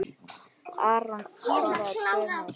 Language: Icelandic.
Aron skoraði tvö mörk.